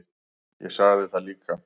Ég sagði það líka.